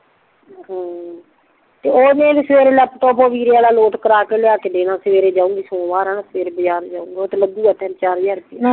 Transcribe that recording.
ਹਮ ਤੇ ਓਨੇ ਸਵੇਰੇ ਲੈਪਟਾਪ ਓ ਵੀਰੇ ਵੱਲ ਲਾੱਟ ਕਰਾ ਕੇ ਲੈ ਕੇ ਦੇਣਾ ਸਵੇਰੇ ਜਾਉਗੀ ਸੋਮਵਾਰ ਆ ਨਾ ਸਵੇਰੇ ਬਜ਼ਾਰ ਜਾਊਗੀ ਓਥੇ ਲਗੁ ਤਿਨ ਚਾਰ ਹਜ਼ਾਰ ਰੁੱਪਈਆ